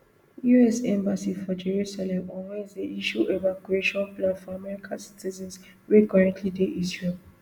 us embassy for jerusalem on wednesday issue evacuation plan for american citizens wey currently dey israel